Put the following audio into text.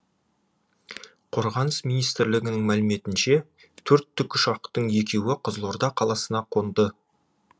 қорғаныс министрлігінің мәліметінше төрт тікұшақтың екеуі қызылорда қаласына қонды